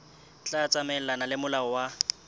tla tsamaelana le molao wa